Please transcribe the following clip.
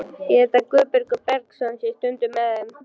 Ég held að Guðbergur Bergsson sé stundum með þeim.